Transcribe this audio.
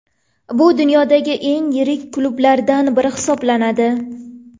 Bu dunyodagi eng yirik klublardan biri hisoblanadi.